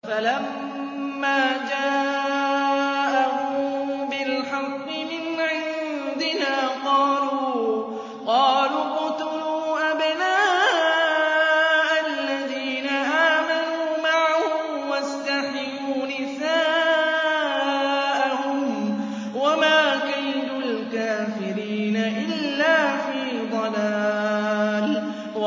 فَلَمَّا جَاءَهُم بِالْحَقِّ مِنْ عِندِنَا قَالُوا اقْتُلُوا أَبْنَاءَ الَّذِينَ آمَنُوا مَعَهُ وَاسْتَحْيُوا نِسَاءَهُمْ ۚ وَمَا كَيْدُ الْكَافِرِينَ إِلَّا فِي ضَلَالٍ